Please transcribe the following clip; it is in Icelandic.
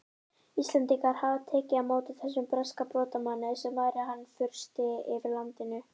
Íslendingar hefðu tekið á móti þessum breska brotamanni sem væri hann fursti yfir landinu!